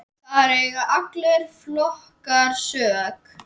Þar eiga allir flokkar sök.